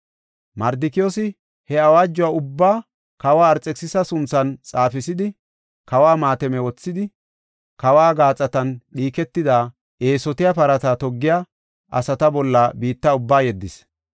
Mardikiyoosi he awaajuwa ubbaa kawa Arxekisisa sunthan xaafisidi, kawo maatame wothidi, kawo gaaxatan dhiiketida, eesotiya parata toggiya asata bolla biitta ubbaa yeddis.